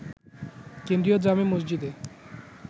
কেন্দ্রীয় জামে মসজিদে